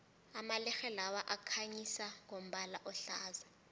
amalerhe lawa akhanyisa ngombala ohlaza